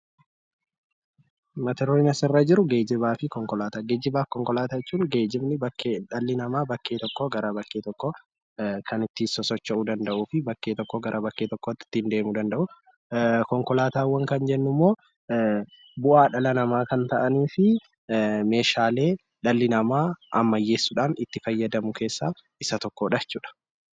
Mata duree kana irratti kan argaa jirru, geejiba fi konkolaataawwan Geejiba jechuun dhalli namaa bakka tokkoo bakka biraatti kan ittiin sosocho'uu danda'uu fi bakkee tokkoo bakka biraatti ittiin deemuu danda'u. Konkolaataawwan kan jennu immoo bu'aa dhala namaa kan ta'anii fi Meeshaalee dhalli namaa ammayyeessuudhaan itti fayyadamu keessaa isa tokkodha.